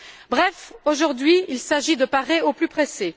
Bref, aujourd'hui, il s'agit de parer au plus pressé.